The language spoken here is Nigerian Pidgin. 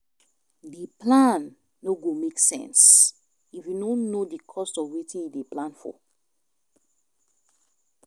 D plan no go make sense if you no know di cost of wetin you dey plan for